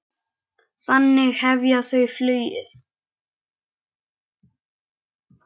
Þannig hefja þau flugið.